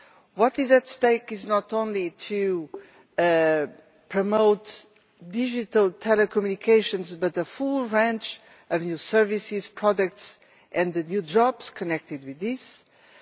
what is at stake is not only to promote digital telecommunications but the full range of new services, products and the new jobs connected with this